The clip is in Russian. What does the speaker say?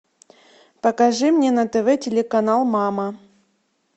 покажи мне на тв телеканал мама